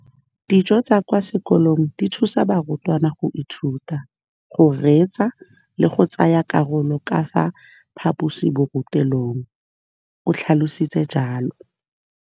Dijo tsa kwa sekolong dithusa barutwana go ithuta, go reetsa le go tsaya karolo ka fa phaposiborutelong, o tlhalositse jalo.